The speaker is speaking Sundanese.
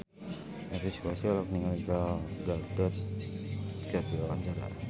Elvi Sukaesih olohok ningali Gal Gadot keur diwawancara